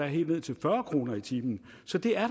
helt ned til fyrre kroner i timen så det er